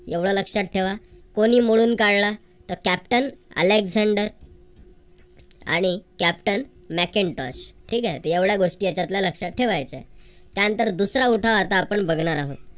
एवढ लक्षात ठेवा. कोणी मळून काढला तर captain Alexender आणि captain Macintosh ठीक आहे तर एवढ्या गोष्टी त्याच्यातल्या लक्षात ठेवायच्या. त्यानंतर दुसरा उठाव आपण आता बघणार आहोत.